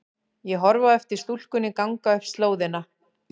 Ég horfi á eftir stúlkunni ganga upp slóðina.